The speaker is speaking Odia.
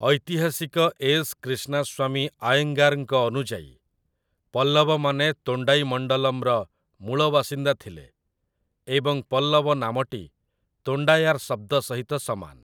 ଐତିହାସିକ ଏସ୍. କ୍ରିଷ୍ଣାସ୍ୱାମୀ ଆୟେଙ୍ଗାରଙ୍କ ଅନୁଯାୟୀ, ପଲ୍ଲବମାନେ ତୋଣ୍ଡାଇମଣ୍ଡଲମର ମୂଳ ବାସିନ୍ଦା ଥିଲେ ଏବଂ ପଲ୍ଲବ ନାମଟି 'ତୋଣ୍ଡାୟାର' ଶବ୍ଦ ସହିତ ସମାନ ।